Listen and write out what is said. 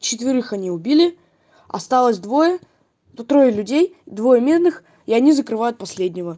четверых они убили осталось двое по трое людей двое мирных и они закрывают последнего